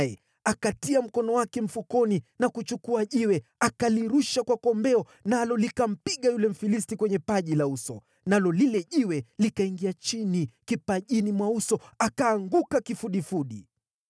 Daudi akatia mkono wake mfukoni na kuchukua jiwe, akalirusha kwa kombeo, nalo likampiga yule Mfilisti kwenye paji la uso. Lile jiwe likaingia kipajini mwa uso, akaanguka chini kifudifudi.